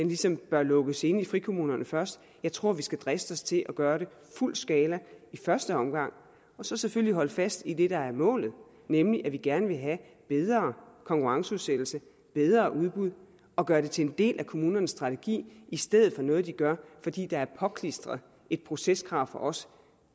ligesom bør lukkes inde i frikommunerne først jeg tror vi skal driste os til at gøre det i fuld skala i første omgang og så selvfølgelig holde fast i det der er målet nemlig at vi gerne vil have bedre konkurrenceudsættelse og bedre udbud og gøre det til en del af kommunernes strategi i stedet for noget de gør fordi der er påklistret et proceskrav fra os